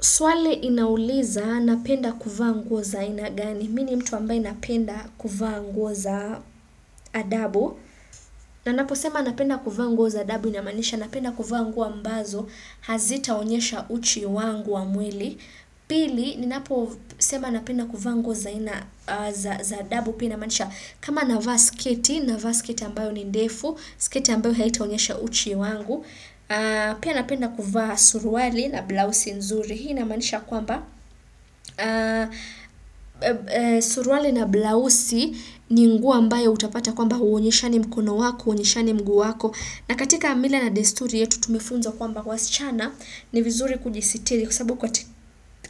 Swali inauliza napenda kuvaa nguo za aina gani. Mimi mtu ambaye napenda kuvaa nguo za adabu. Na ninaposema napenda kuvaa nguo za adabu inamaanisha napenda kuvaa nguo ambazo. Hazitaonyesha uchi wangu wa mwili. Pili, ninaposema napenda kuvaa nguo za adabu pia inamaanisha. Kama navaa sketi, navaa sketi ambayo ni ndefu, sketi ambayo haitaonyesha uchi wangu. Pia napenda kufa suruali na blouse nzuri. Hii na manisha kwamba suruale na blouse ni nguo ambayo hutapata kwamba huonyeshani mkono wako, huonyeshani mguu wako. Na katika mila na desturi yetu tumefunzwa kwamba wasichana ni vizuri kujisitiri. Kwa sababu